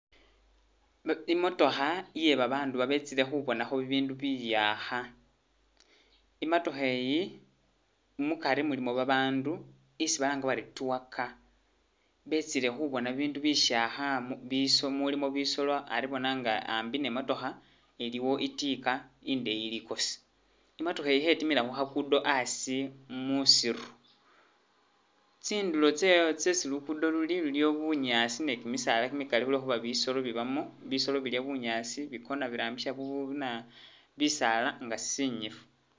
Imotookha iye babandu babetsile khubonakho bibindu biyakha, imatookha eyi mukari mulimo babandu isi balanga bari tour car, betsile khubona bibindu bishakha mu biso mulimo bisoolo ari bona nga ambi ne motookha aliwo itiika indenyi likosi, imotookha iyi Khetimila khu kha gudo asi musiru, tsindulo tse tsesi lukudo luliyo bunyaasi ne kimisaala kimikali khulwekhuba bisoolo bibamo, bisoolo bilya bunyaasi bikona birambisa bu bu buna bisaala nga sinyifu